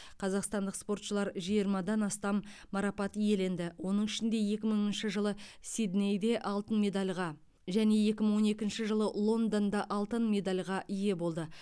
қазақстандық спортшылар жиырмадан астам марапат иеленді оның ішінде екі мыңыншы жылы сиднейде алтын медальға және екі мың он екінші жылы лондонда алтын медальға ие болды